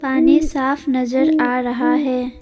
पानी साफ नजर आ रहा है।